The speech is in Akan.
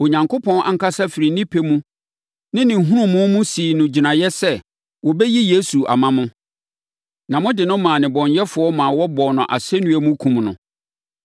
Onyankopɔn ankasa firi ne pɛ ne ne nhunumu mu sii no gyinaeɛ sɛ wɔbɛyi Yesu ama mo, na mode no maa nnebɔneyɛfoɔ ma wɔbɔɔ no asɛnnua mu kumm no.